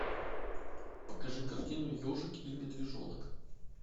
покажи картину ежик и медвежонок